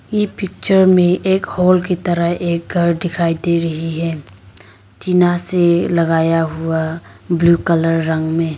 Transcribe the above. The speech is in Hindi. ये पिक्चर में एक हाल की तरह एक घर दिखाई दे रही है टीना से लगाया हुआ ब्लू कलर रंग में।